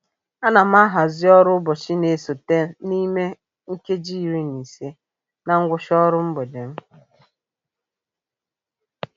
A na m ahazị ọrụ ụbọchị na-esote n'ime nkeji iri na ise na ngwụcha ọrụ mgbede m.